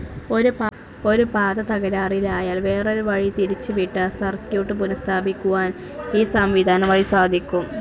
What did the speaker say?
ഒരു പാത തകരാറിലായാൽ വേറൊരു വഴി തിരിച്ചുവിട്ട സർക്യൂട്ട്‌ പുനസ്ഥാപിക്കുവാൻ ഈ സംവിധാനം വഴി സാധിക്കും.